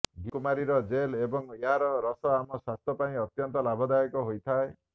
ଘିଁକୁଆରୀର gel ଏବଂ ଏହାର ରସ ଆମ ସ୍ବାସ୍ଥ୍ୟ ପାଇଁ ଅତ୍ୟନ୍ତ ଲାଭଦାୟକ ହୋଇଥାଏ